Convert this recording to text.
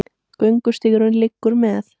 Göngustígurinn liggur með